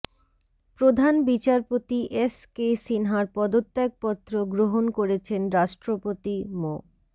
প্রধান বিচারপতি S K সিনহার পদত্যাগপত্র গ্রহণ করেছেন রাষ্ট্রপতি মো